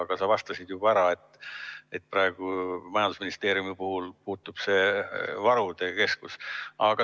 Aga sa vastasid juba ära, et nüüd majandusministeeriumi puhul muutub see varude keskus.